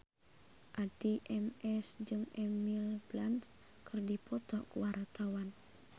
Addie MS jeung Emily Blunt keur dipoto ku wartawan